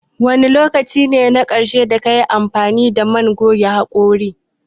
Wane lokaci ne na ƙarshe da kayi amfani da man goge haƙora?